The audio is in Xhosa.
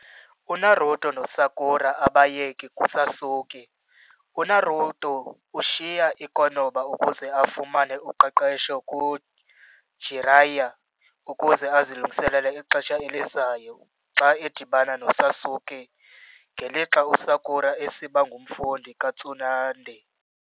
UNaruto noSakura abayeki kuSasuke- UNaruto ushiya i-Konoha ukuze afumane uqeqesho kuJiraiya ukuze azilungiselele ixesha elizayo xa edibana noSasuke, ngelixa uSakura esiba ngumfundi kaTsunade.